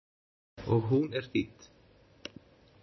Og hún er þýdd.